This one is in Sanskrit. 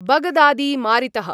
बगदादी मारितः